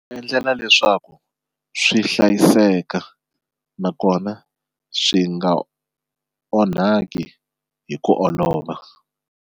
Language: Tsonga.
Va endlela leswaku swi hlayiseka nakona swi nga onhaki hi ku olova.